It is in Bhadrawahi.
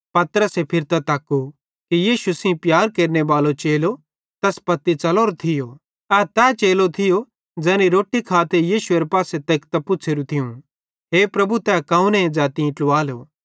पतरसे फिरतां तक्कू कि यीशु सेइं प्यार केरनेबालो चेलो तैस पत्ती च़लोरोए थियो ए तै चेलो थियो ज़ैनी रोट्टी खाते यीशुएरे पासे लिकतां पुछ़ेरू थियूं हे प्रभु तै कौने ज़ै तीं ट्लुवालो